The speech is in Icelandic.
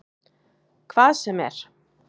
Hvað sem er?